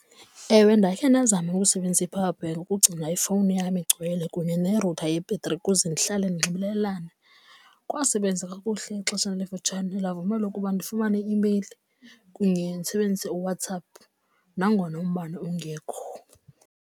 Ewe, ndakhe bazame ukusebenzisa i-power bank ukugcina ifowuni yam igcwele kunye nerutha yebhetri ukuze ndihlale nxibelelana. Kwabasebenza kakuhle ixesha elifutshane ndavumela ukuba ndifumane i-imeyili kunye ndisebenzise uWhatsApp nangona umbane ungekho.